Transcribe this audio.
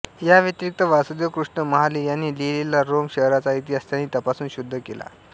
याव्यतिरिक्त वासुदेव कृष्ण महाले यांनी लिहिलेला रोम शहराचा इतिहास त्यांनी तपासून शुद्ध केला